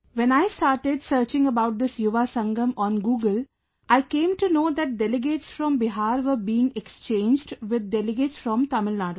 When I started searching about this Yuva Sangam on Google, I came to know that delegates from Bihar were being exchanged with delegates from Tamil Nadu